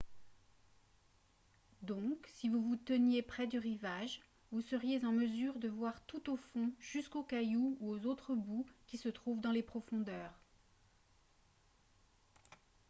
donc si vous vous teniez près du rivage vous seriez en mesure de voir tout au fond jusqu'aux cailloux ou autres boues qui se trouvent dans les profondeurs